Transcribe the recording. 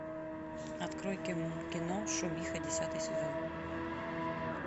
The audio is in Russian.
открой кино шумиха десятый сезон